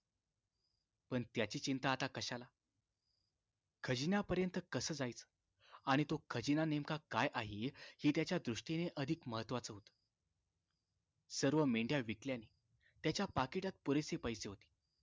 पण त्याची चिंता आता कशाला खजिन्यापर्यंत कास जायचं आणि तो खजिना नेमका काय आहे हे त्याच्या दृष्टीने अधिक महत्वाचे होते सर्व मेंढ्या विकल्याने त्याच्या पाकिटात पुरेसे पैसे होते